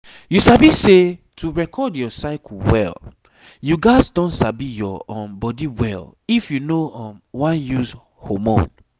you sabi say to record your cycle well you gats don sabi your um body well if you no um wan use hormone